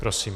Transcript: Prosím.